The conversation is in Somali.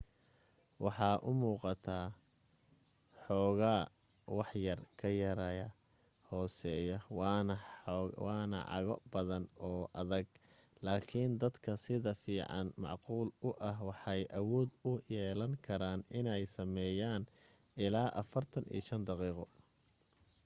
waxay umuuqataa xoogaa waxyar ka yaraya hooseya waana cago jaban oo adag laakin dadka sida fiican macquul u ah waxay awood u yeelan karaan inay sameeyaan ila 45 daqiiqo